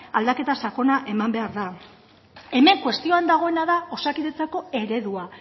aldaketa sakona eman behar da hemen kuestioan dagoena da osakidetzako eredua